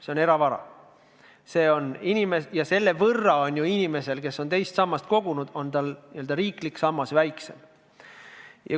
See on eravara ja selle võrra on ju inimesel, kes teise sambasse on kogunud, n-ö riiklik sammas väiksem.